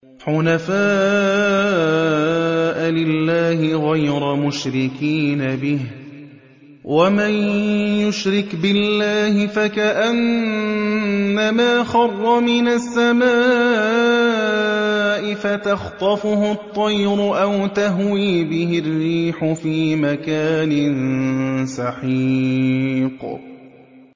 حُنَفَاءَ لِلَّهِ غَيْرَ مُشْرِكِينَ بِهِ ۚ وَمَن يُشْرِكْ بِاللَّهِ فَكَأَنَّمَا خَرَّ مِنَ السَّمَاءِ فَتَخْطَفُهُ الطَّيْرُ أَوْ تَهْوِي بِهِ الرِّيحُ فِي مَكَانٍ سَحِيقٍ